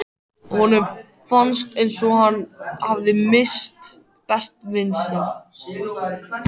Honum fannst eins og hann hefði misst besta vin sinn.